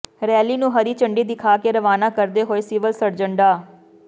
rally ਨੂੰ ਹਰੀ ਝੰਡੀ ਦਿਖਾ ਕੇ ਰਵਾਨਾ ਕਰਦੇ ਹੋਏ ਸਿਵਲ ਸਰਜਨ ਡਾ